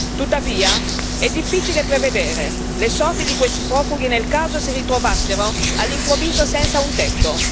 Tuttavia, è difficile prevedere le sorti di questi profughi nel caso si ritrovassero all'improvviso senza un tetto.